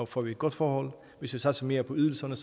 får vi et godt forhold hvis vi satser mere på ydelserne